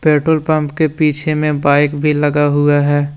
Petrol pump के पीछे में बाइक भी लगा हुआ है।